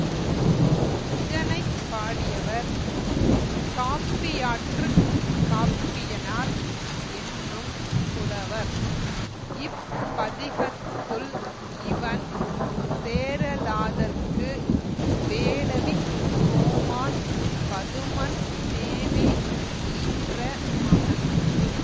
இதனை பாடியவர் காப்பியாற்றுக் காப்பியனார் என்னும் புலவர் இப் பதிகத்துள் இவன் சேரலாதற்கு வேளவிக் கோமான் பதுமன் தேவி ஈன்ற மகன்